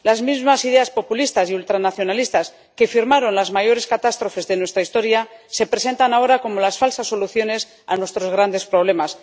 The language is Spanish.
Las mismas ideas populistas y ultranacionalistas que firmaron las mayores catástrofes de nuestra historia se presentan ahora como falsas soluciones a nuestros grandes problemas.